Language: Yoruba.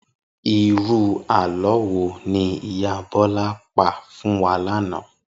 Irú àlọ́ wo ni ìyá Bọ́lá pa fún wa lánàá?